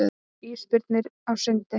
Ísbirnir á sundi.